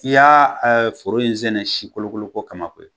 k'i y'a foro in sɛnɛ si kolokoloko kama koyi